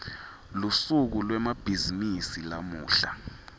lusuku lwemabhizimisi lamuhla